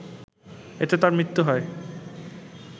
এতে তার মৃত্যু হয়